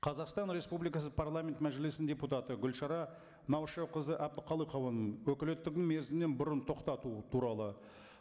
қазақстан республикасы парламент мәжілісінің депутат гүлшара наушақызы әбдіқалықованың өкілеттігін мерзімнен бұрын тоқтату туралы